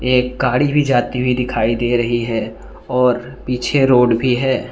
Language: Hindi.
एक गाड़ी भी जाती हुई दिखाई दे रही है और पीछे रोड भी है।